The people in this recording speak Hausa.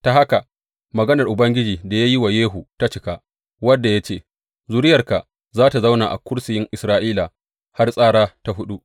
Ta haka maganar Ubangiji da ya yi wa Yehu ta cika, wadda ya ce, Zuriyarka za tă zauna a kursiyin Isra’ila har tsara ta huɗu.